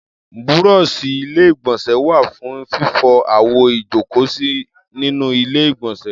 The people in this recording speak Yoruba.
Búrọ́ọ̀ṣì Ilé-ìgbọ̀nsẹ̀ wà fún fífọ àwo ìjókòósí nínú Ilé-ìgbọ̀nsẹ̀.